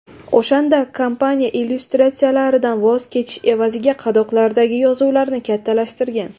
O‘shanda kompaniya illyustratsiyalardan voz kechish evaziga qadoqlardagi yozuvlarni kattalashtirgan.